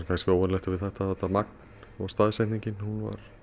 óvenjulegt við þetta er þetta magn og staðsetningin